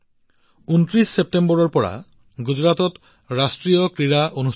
২৯ ছেপ্টেম্বৰৰ পৰা গুজৰাটত ৰাষ্ট্ৰীয় ক্ৰীড়া অনুষ্ঠিত হৈছে